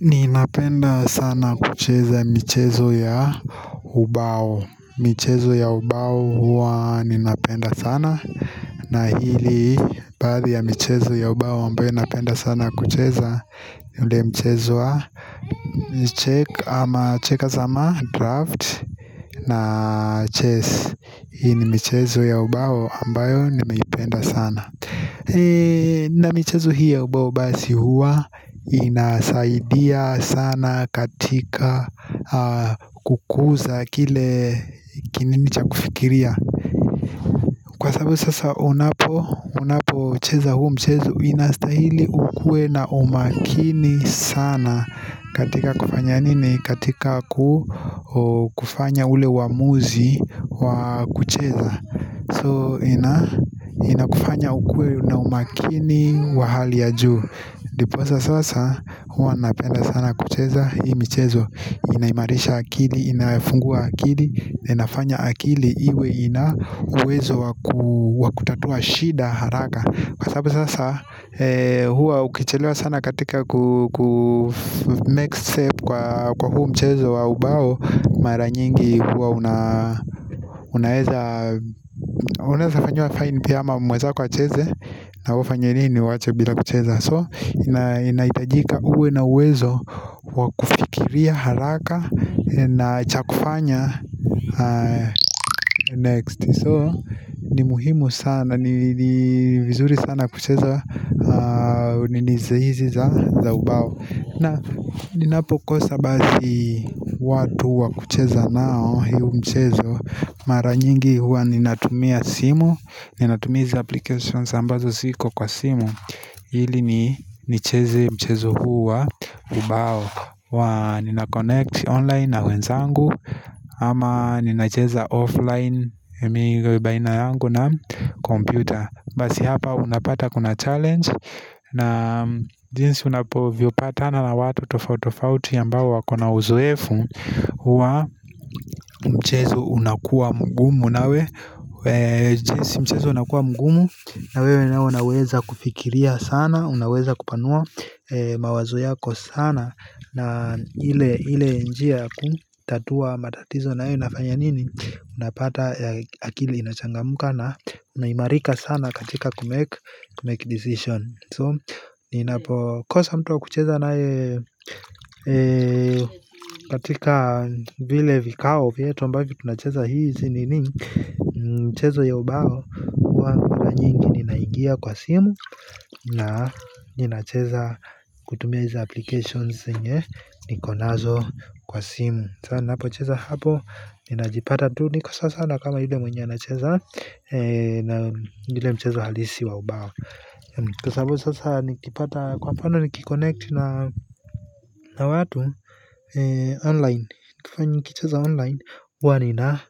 Ninapenda sana kucheza michezo ya hubao michezo ya ubao huwa ninapenda sana na hili baadhi ya michezo ya ubao ambayo napenda sana kucheza yule michezo wa Check ama checkers ama draft na chess Hii ni michezo ya ubao ambayo nimeipenda sana na mchezo hii ya ubao basi huwa inasaidia sana katika kukuza kile kinini cha kufikiria Kwa sababu sasa unapo unapo cheza huo mchezo inastahili ukue na umakini sana katika kufanya nini katika kufanya ule uamuzi wa kucheza So ina kufanya ukue na umakini wa hali ya juu Ndiposa sasa huwa napenda sana kucheza hii michezo. Inaimarisha akili, inafungua akili, inafanya akili iwe ina uwezo wa kutatua shida haraka Kwa sababu sasa huwa ukichelewa sana katika kumake step kwa huu mchezo wa ubao Mara nyingi huwa una unaeza unaeza fanyiwa fine pia ama mwezako acheze nawe ufanye nini uwache bila kucheza So inaitajika uwe na uwezo wakufikiria haraka na chakufanya next so ni muhimu sana ni vizuri sana kucheza minizo hizi za ubao na ninapokosa bazi watu wakucheza nao hio mchezo mara nyingi huwa ninatumia simu ni natumia hizi applications ambazo ziko kwa simu Ili nicheze mchezo huu wa ubao wa ninaconnect online na wenzangu ama nina cheza offline baina yangu na computer basi hapa unapata kuna challenge na jinsi unapovyo patana na watu tofautofauti ambao wakona uzuefu huwa mchezo unakua mgumu nawe Si mchezo unakua mgumu Nawewe nawe unaweza kufikiria sana Unaweza kupanua mawazo yako sana na ile ile njia ya kutatua matatizo nayo inafanya nini unapata akili inachangamka na unaimarika sana katika kumake decision so ninapokosa mtu wa kucheza naye katika vile vikao vyetu ambavyo tunacheza hizi nini mchezo ya ubao huwa mara nyingi ninaingia kwa simu na ninacheza kutumia hizi applications zenye niko nazo kwa simu sa ninapocheza hapo ninajipata tu niko sawasawa na kama yule mwenye anacheza na ile mchezo halisi wa ubao kwa sababu sasa nikipata kwa mfano nikiconnect na na watu online nikifanya nikicheza online uwa nina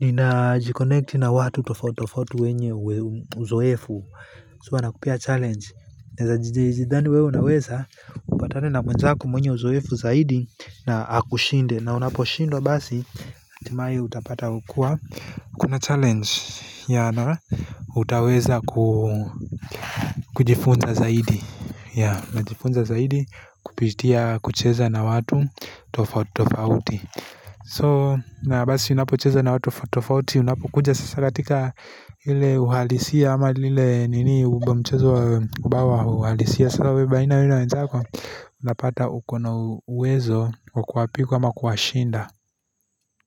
Nina jikonekti na watu tofauti tofauti wenye uzoefu so wanakupea challenge naeza jidhani wewe unaweza upatane na mwenzako mwenye uzoefu zaidi na akushinde na unaposhindwa basi hatimaye utapata hukua, kuna challenge, ya na, utaweza ku kujifunza zaidi yeah, najifunza zaidi, kupitia, kucheza na watu tofauti tafauti So, na basi unapo cheza na watu tofauti tofauti, unapokuja sasa katika ile uhalisia ama lile nini uba mchezo wa bawa uhalisia sasa we baina ya we na wezako, unapata uko na uwezo, wa kuwapiku ama kuwashinda.